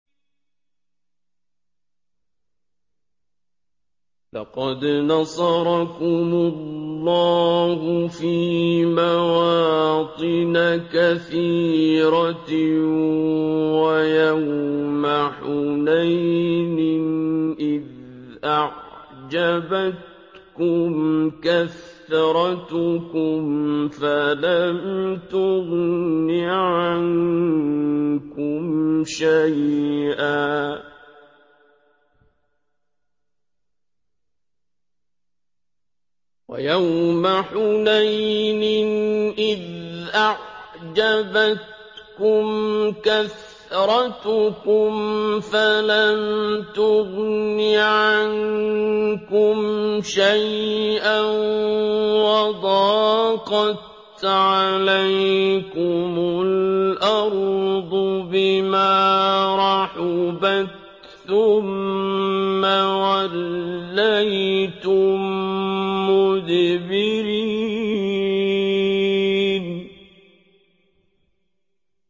لَقَدْ نَصَرَكُمُ اللَّهُ فِي مَوَاطِنَ كَثِيرَةٍ ۙ وَيَوْمَ حُنَيْنٍ ۙ إِذْ أَعْجَبَتْكُمْ كَثْرَتُكُمْ فَلَمْ تُغْنِ عَنكُمْ شَيْئًا وَضَاقَتْ عَلَيْكُمُ الْأَرْضُ بِمَا رَحُبَتْ ثُمَّ وَلَّيْتُم مُّدْبِرِينَ